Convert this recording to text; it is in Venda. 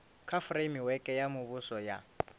kha fureimiweke ya muvhuso ya